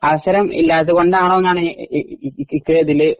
അവസരം ഇല്ലാത്തകൊണ്ടാണോ ഈ ഈ ഈ ഡിലേ